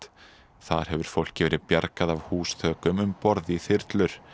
þar hefur fólki verið bjargað af húsþökum um borð í þyrlur